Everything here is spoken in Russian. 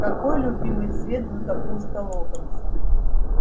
какой любимый цвет златопуста локонса